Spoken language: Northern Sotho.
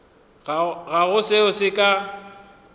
ga go seo se ka